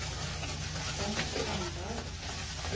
Bengt Sandberg